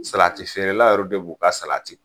Salati feerela yɛrɛw de b'o ka salati bɔ.